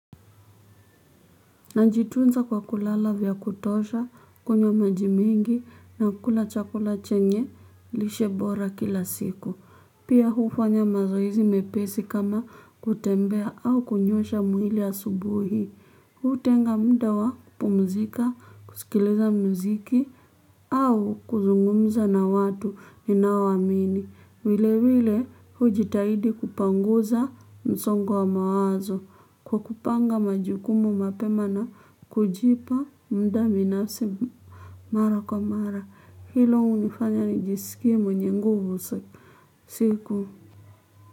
Najitunza kwa kulala vya kutosha, kunywa maji mingi na kula chakula chenye lishe bora kila siku. Pia hufanya mazoezi mepesi kama kutembea au kunyosha mwili asubuhi. Hutenga muda wa kupumzika, kusikiliza muziki au kuzungumza na watu ninaoamini. Vile vile hujitahidi kupanguza msongo wa mawazo kwa kupanga majukumu mapema na kujipa muda binafsi mara kwa mara. Hilo hunifanya nijisikie mwenye nguvu siku.